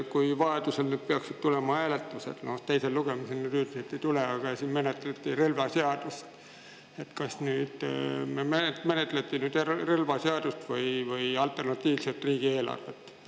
Kui nüüd peaksid tulema hääletused, kuigi teisel lugemisel neid üldiselt ei tule, siis kas praegu menetleti relvaseadust või alternatiivset riigieelarvet?